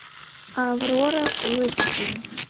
аврора фулл эйч ди